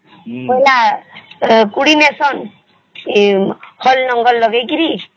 ବାଇଲ କୁଡି ଯେସନ ହଳ ଲଙ୍ଗଳ ଲଗେଇକିରି